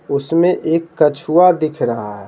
उसमें एक कछुआ दिख रहा है।